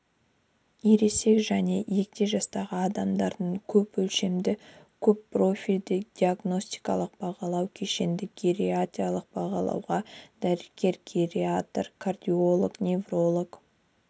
ересек және егде жастағы адамдарды көпөлшемді көппрофильді диагностикалық бағалау кешенді гериатриялық бағалауға дәрігер-гериатр кардиолог невролог